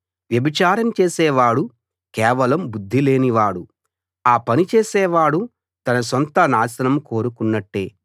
వ్యభిచారం చేసేవాడు కేవలం బుద్ధి లేనివాడు ఆ పని చేసేవాడు తన సొంత నాశనం కోరుకున్నట్టే